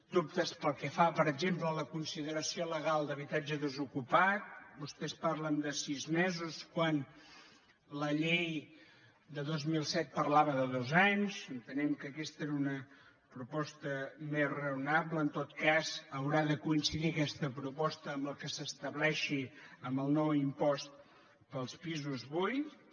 dubtes pel que fa per exemple a la con·sideració legal d’habitatge desocupat vostès parlen de sis mesos quan la llei de dos mil set parlava de dos anys entenem que aquesta era una proposta més raona·ble en tot cas haurà de coincidir aquesta proposta amb el que s’estableixi amb el nou impost per als pi·sos buits